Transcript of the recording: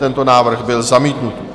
Tento návrh byl zamítnut.